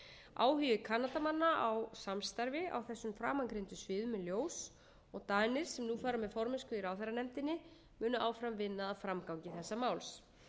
áhugi kanadamanna á samstarfi á þessum framangreindu sviðum er ljós og danir sem nú fara með formennsku í ráðherranefndinni munu áfram vinna að framgangi þessa máls